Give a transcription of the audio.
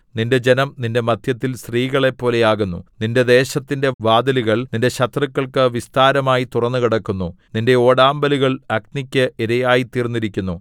നിന്റെ ജനം നിന്റെ മദ്ധ്യത്തിൽ സ്ത്രീകളെപ്പോലെ ആകുന്നു നിന്റെ ദേശത്തിന്റെ വാതിലുകൾ നിന്റെ ശത്രുക്കൾക്ക് വിസ്താരമായി തുറന്നുകിടക്കുന്നു നിന്റെ ഓടാമ്പലുകൾ അഗ്നിക്ക് ഇരയായിത്തീർന്നിരിക്കുന്നു